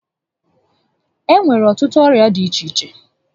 E nwere ọtụtụ ọrịa dị iche iche